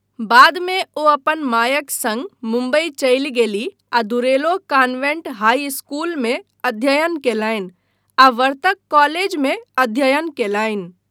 बाद मे ओ अपन मायक सङ्ग मुम्बई चलि गेलीह आ दुरेलो कान्वेंट हाई स्कूलमे अध्ययन कयलनि आ वर्तक कॉलेजमे अध्ययन कयलनि।